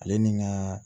Ale ni ŋaa